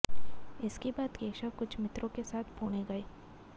इसके बाद केशव कुछ मित्रों के साथ पुणे गए